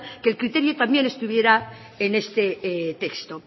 que el criterio también estuviera en este texto